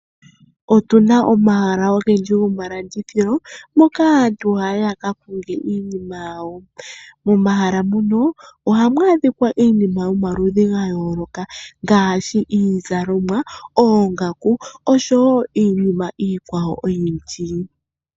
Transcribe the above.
Otuna omahala ogendji gomalandithilo moka aantu haya yi yakakonge iinima yawo. Momahala muno ohamu adhika iinima yomaludhi gayooloka, ngaashi iizalomwa, oongaku osho wo iinima iikwawo oyindji.